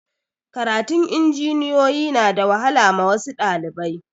Karatun injiniyoyi na da wahala ma wasu ɗalibai